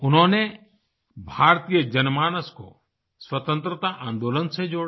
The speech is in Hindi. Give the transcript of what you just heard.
उन्होंने भारतीय जनमानस को स्वतंत्रता आन्दोलन से जोड़ा